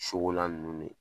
ninnu ne